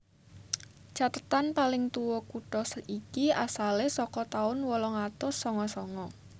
Cathetan paling tuwa kutha iki asale saka taun wolung atus sanga sanga